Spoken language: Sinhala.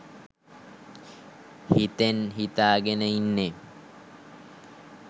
හිතෙන් හිතාගෙන ඉන්නේ